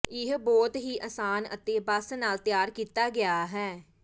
ਇਹ ਬਹੁਤ ਹੀ ਅਸਾਨ ਅਤੇ ਬਸ ਨਾਲ ਤਿਆਰ ਕੀਤਾ ਗਿਆ ਹੈ